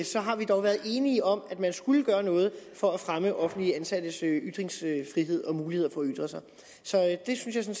så har vi dog være enige om at man skulle gøre noget for at fremme offentligt ansattes ytringsfrihed og muligheder for at ytre sig så det synes jeg